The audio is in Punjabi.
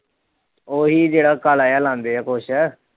ਉਹੀ ਜਿੜਾ ਕਾਲਾ ਜਾ ਲਾਂਦੇ ਆ ਕੁਛ।